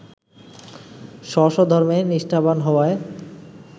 স্ব-স্ব ধর্মে নিষ্ঠাবান হওয়ায়